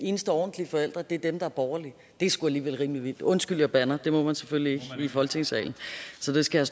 eneste ordentlige forældre er dem der er borgerlige det er sgu alligevel rimelig vildt undskyld jeg bander det må man selvfølgelig ikke i folketingssalen så det skal